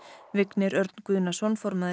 Vignir Örn Guðnason formaður